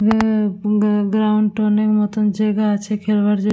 উমম ground টোনের মতো জায়গা আছে খেলবার জ--